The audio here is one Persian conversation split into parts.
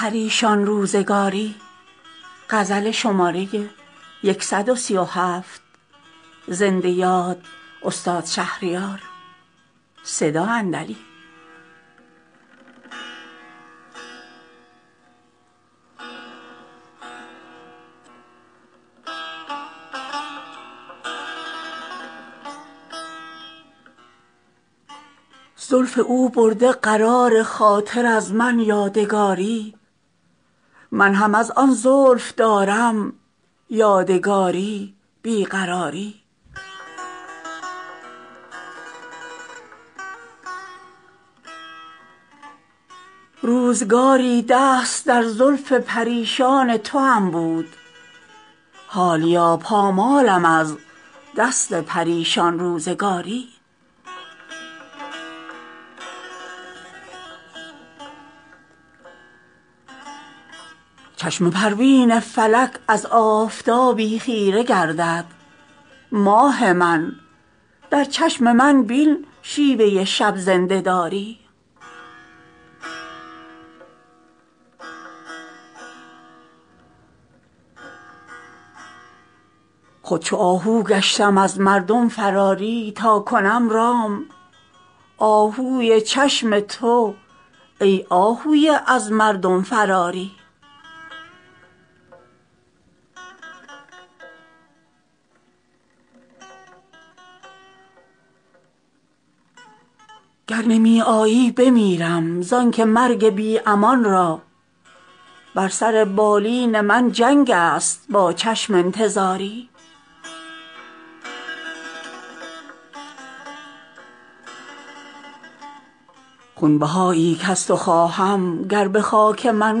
زلف او برده قرار خاطر از من یادگاری من هم از آن زلف دارم یادگاری بیقراری روزگاری دست در زلف پریشان توام بود حالیا پامالم از دست پریشان روزگاری تا گرفتم گوشه در میخانه با یاد دو چشمت رشک مهر و ماه دیدم جام بزم میگساری سنگ بر در کم بزن زاهد بیا خود تا ببینم کوزه می بشکند یا کاسه پرهیزگاری چشم پروین فلک از آفتابی خیره گردد ماه من در چشم من بین شیوه شب زنده داری شد دلم زندانی مشکین حصار چین زلفت شاه من ای ماه مشکویی و ای شوخ حصاری داد سودای دل اندوزی سر زلف تو بر باد سرو من آزاده را نبود سر سرمایه داری خود چو آهو گشتم از مردم فراری تاکنم رام آهوی چشم تو ای آهوی از مردم فراری گر نمی آیی بمیرم زانکه مرگ بی امان را بر سر بالین من جنگ است با چشم انتظاری خونبهایی کز تو خواهم گر به خاک من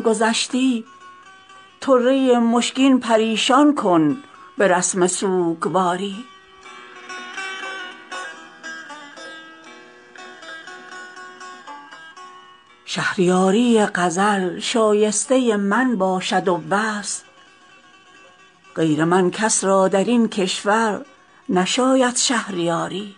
گذشتی طره مشکین پریشان کن به رسم سوگواری باش کز شوق گل رویت غزل خوان باز خیزم فصل گل چون بشنوم غوغای مرغان بهاری شهریاری غزل شایسته من باشد و بس غیر من کس را در این کشور نشاید شهریاری